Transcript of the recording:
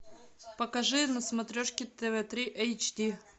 покажи на смотрешке тв три эйч ди